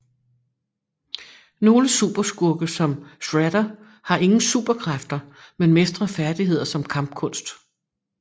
Nogle superskurke som Shredder har ingen superkræfter men mestrer færdigheder som kampkunst